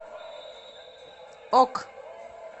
ок